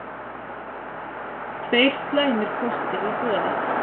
Tveir slæmir kostir í boði